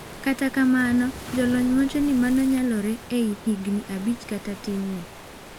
Kata kamano jolony wachoni mano nyalore ,ei higni abich kata tin ne.